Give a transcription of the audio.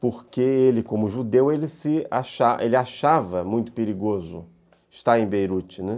porque ele, como judeu, ele se achava achava muito perigoso estar em Beirute, né.